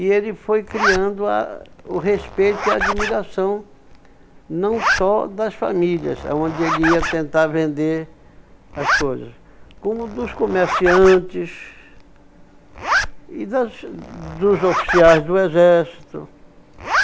E ele foi criando ah o respeito e a admiração não só das famílias, aonde ele ia tentar vender as coisas, como dos comerciantes e das dos oficiais do exército.